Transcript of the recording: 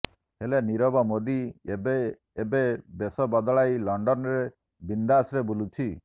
ହେଲେ ନୀରବ ମୋଦି ଏବେ ଏବେ ବେଶ ବଦଳାଇ ଲଂଡନରେ ବିନ୍ଦାସରେ ବୁଲୁଛି